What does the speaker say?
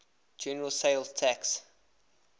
general sales tax